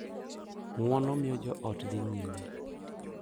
Ng’uono miyo joot dhi nyime